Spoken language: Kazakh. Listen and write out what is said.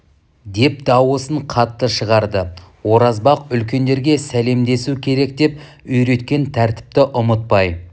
деп дауысын қатты шығарды оразбақ үлкендерге сәлемдесу керек деп үйреткен тәртіпті ұмытпай